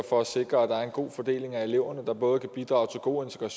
for at sikre at der er en god fordeling af eleverne der både kan bidrage til god